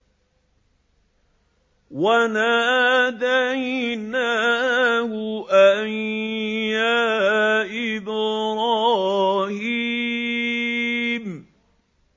وَنَادَيْنَاهُ أَن يَا إِبْرَاهِيمُ